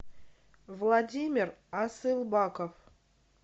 владимир асылбаков